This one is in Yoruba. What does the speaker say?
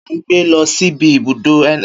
Kẹkẹ ni a n gbé lọ síbi ibùdó ns